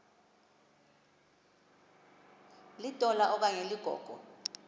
litola okanye ligogo